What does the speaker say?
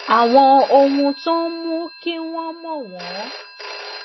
àwọn ohun tó ń mú kí wọn mọwọn